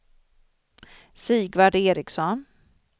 Sigvard Ericsson